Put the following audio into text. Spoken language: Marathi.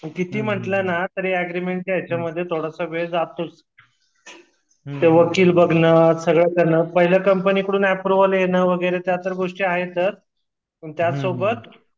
कितीही म्हंटलन अग्रीमेतच्या याच्यामध्ये थोडस वेळ जातोच ते वकील बघन सगळ करण पहिल्या कंपनीकडन अँप्रोवल येन वगैरे त्या तर गोष्टी आहेतच पण त्या सोबत